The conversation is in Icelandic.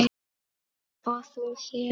og þú hér?